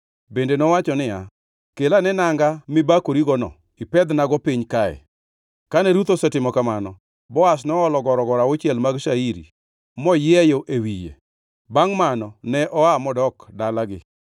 Bende nowacho niya, “Kel ane nanga mibakorigono ipedhnago piny kae.” Kane Ruth osetimo kamano, Boaz noolo gorogoro auchiel mag shairi morieyo e wiye. Bangʼ mano ne oa, modok dalagi.